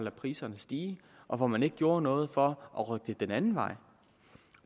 priserne stige og hvor man ikke gjorde noget for at rykke det den anden vej